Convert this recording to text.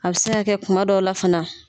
A bɛ se ka kɛ kuma dɔ la fana.